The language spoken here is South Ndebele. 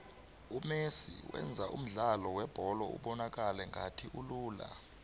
umesi wenza umdlalo webholo ubonakale ngathi ulula